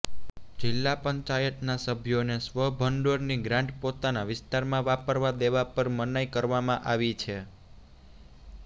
જિલ્લા પંચાયતના સભ્યોને સ્વભંડોળની ગ્રાન્ટ પોતાના વિસ્તારમાં વાપરવા દેવા પર મનાઈ કરવામા આવી છે